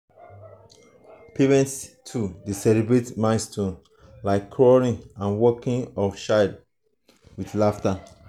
parents too dey celebrate milestones like crawling and walking of child with laughter.